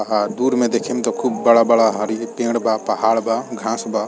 आहा दूर में देखिम त खूब बड़ा-बड़ा हरी पेड़ बा पहाड़ बा घास बा।